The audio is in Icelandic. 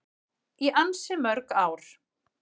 Í ansi mörg ár.